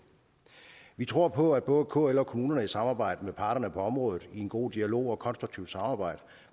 vi tror på at både kl og kommunerne i samarbejde med parterne på området i en god dialog og et konstruktivt samarbejde